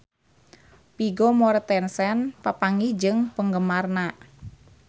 Vigo Mortensen papanggih jeung penggemarna